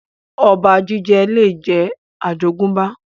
Ọba jíjẹ lè jẹ́ àjogúnbá